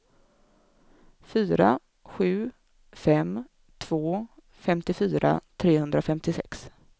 fyra sju fem två femtiofyra trehundrafemtiosex